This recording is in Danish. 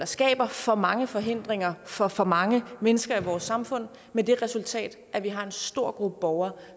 skaber for mange forhindringer for for mange mennesker i vores samfund med det resultat at vi har en stor gruppe borgere